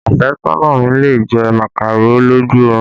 Afesona mi lè jẹ màkàró lójú orun